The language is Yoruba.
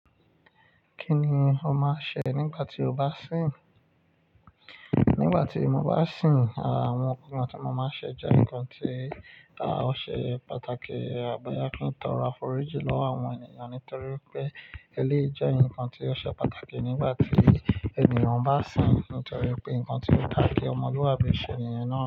Kí ni o máa ń ṣe nígbà tí o bá ń sìn? Nígbà tí mo bá ń sìn, àwọn nǹkan tí mo máa ń ṣe jẹ́ nǹkan tí ó ṣe pàtàkì, à boya kí n tọro aforíji lọwo àwọn ènìyàn nítorí pé elé jẹ́ nǹkan tí ó ṣe pàtàkì nígbà tí ènìyàn bá sìn nítorí pé nǹkan tí ó dá kí ọmọlúàbí ṣe niyen náà.